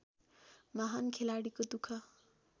महान् खेलाडीको दुख